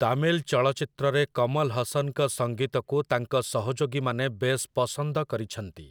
ତାମିଲ ଚଳଚ୍ଚିତ୍ରରେ କମଲ ହସନ୍‌ଙ୍କ ସଙ୍ଗୀତକୁ ତାଙ୍କ ସହଯୋଗୀମାନେ ବେଶ୍‌ ପସନ୍ଦ କରିଛନ୍ତି ।